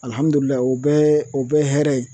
Alihamudulilahi o bɛɛ o bɛɛ ye hɛrɛ ye